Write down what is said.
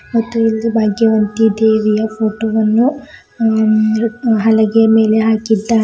ಮತ್ತು ಇಲ್ಲಿ ಭಾಗ್ಯವಂತಿ ದೇವಿಯ ಫೋಟೋ ವನ್ನು ಹಲಗೆ ಮೇಲೆ ಹಾಕಿದ್ದಾರೆ.